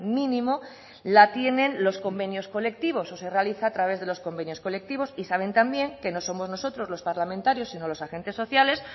mínimo la tienen los convenios colectivos o se realiza a través de los convenios colectivos y saben también que no somos nosotros los parlamentarios sino los agentes sociales